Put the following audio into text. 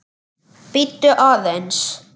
Bíddu aðeins